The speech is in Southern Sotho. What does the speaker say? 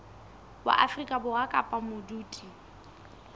wa afrika borwa kapa modudi